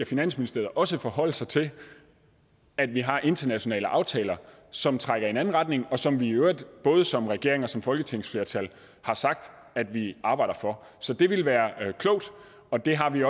finansministeriet også forholde sig til at vi har internationale aftaler som trækker i en anden retning og som vi i øvrigt både som regering og som folketingsflertal har sagt at vi arbejder for så det vil være klogt og det har vi